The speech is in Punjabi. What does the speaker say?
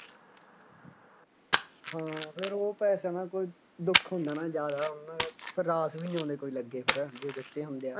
ਹਾਂ ਫੇਰ ਉਹ ਪੈਸਿਆਂ ਦਾ ਕੋਈ ਦੁੱਖ ਹੁੰਦਾ ਨਾ ਜ਼ਿਆਦਾ ਉਹਨਾ ਦੇ ਰਾਸ ਵੀ ਨਹੀਂ ਆਉਂਦੇ ਕੋਈ ਲੱਗੇ ਫੇਰ ਜੇ ਦਿੱਤੇ ਹੁੰਦੇ ਆ